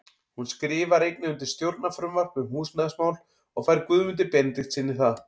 Hún skrifar einnig undir stjórnarfrumvarp um húsnæðismál og fær Guðmundi Benediktssyni það.